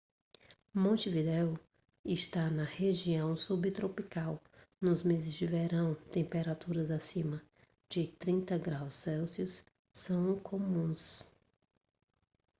montevidéu está na região subtropical; nos meses de verão temperaturas acima de 30 °c são comuns